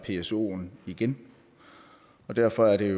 psoen igen og derfor er det